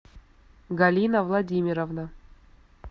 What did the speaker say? галина владимировна